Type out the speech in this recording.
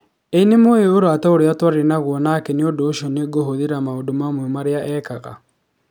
Ĩ nĩmũĩ ũrata ũrĩa twarĩ naguo nake na nĩ ũndũ ũcio nĩ ngũkũhũthĩra maũndũ mamwe marĩa eekaga.